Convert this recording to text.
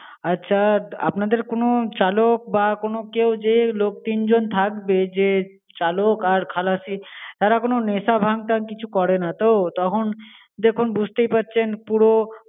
আচ্ছা, আপনাদের কোনো চালক বা কোনো কেউ, যে লোক তিনজন থাকবে, যে চালক আর খালাসি তারা কোনো নেশা ভাঙ-টাং কিছু করেনা তো? তখন দেখুন বুঝতেই পারছেন পুরো